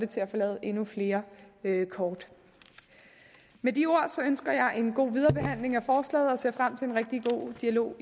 til at få lavet endnu flere kort med de ord ønsker jeg en god viderebehandling af forslaget og ser frem til en rigtig god dialog